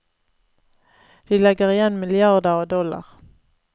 De legger igjen milliarder av dollar.